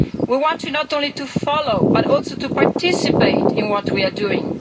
We want them not only to follow but also to participate in what we are doing